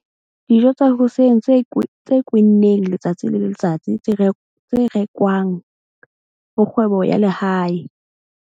Dijo tsa hoseng tse kwenneng letsatsi le letsatsi tse rekwang ho kgwebo ya lehae.